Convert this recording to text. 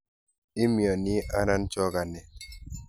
Imiani anan chokanet?